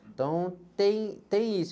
Então, tem, tem isso.